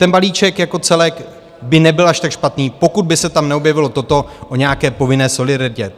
Ten balíček jako celek by nebyl až tak špatný, pokud by se tam neobjevilo toto o nějaké povinné solidaritě.